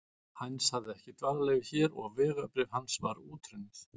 Heinz hafði ekki dvalarleyfi hér og vegabréf hans var útrunnið.